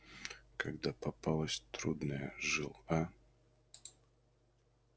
когда попалась трудная жил а